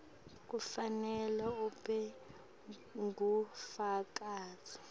kufanele ube ngufakazi